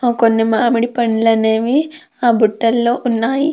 కొన్ని మామిడిపండ్లు అనేవి ఆ బుట్టలో ఉన్నాయి.